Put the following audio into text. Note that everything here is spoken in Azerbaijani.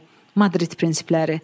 Madrid prinsipləri.